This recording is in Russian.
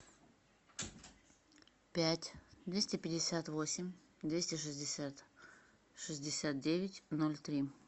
пять двести пятьдесят восемь двести шестьдесят шестьдесят девять ноль три